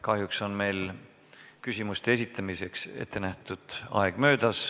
Kahjuks on küsimuste esitamiseks ettenähtud aeg möödas.